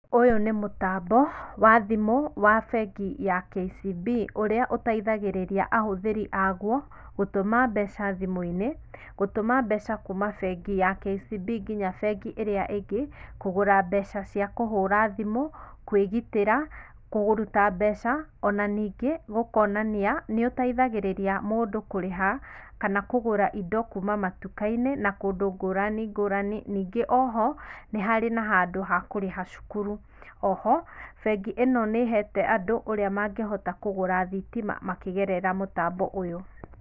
Ũyũ nĩ mũtambo wa thimũ wa bengi ya KCB ũrĩa ũteithagĩrĩria ahũthĩri aguo gũtũma mbeca thimũinĩ, gũtũma mbeca kuuma bengi ya KCB nginya bengi ĩrĩa ĩngĩ kũgũra mbeca cia kũhũra thimũ, kwĩgitĩra, kũruta mbeca ona ningĩ gũkonania nĩgũteithagĩrĩria mũndũ kũrĩha kana kũgũra indo kuuma matukainĩ na kũndũ ngũrani ngũrani, ningĩ oho nĩharĩ na handũ ha kũrĩha cukuru. Oho bengi ĩno nĩhete andũ ũrĩa mangĩhota kũgũra thitima makĩgerera mũtambo ũyũ.